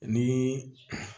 Ni